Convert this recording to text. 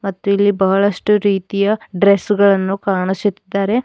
ಮತ್ತು ಇಲ್ಲಿ ಬಹಳಷ್ಟು ರೀತಿಯ ಡ್ರೆಸ್ ಗಳನ್ನು ಕಾಣಿಸುತ್ತಾರೆ.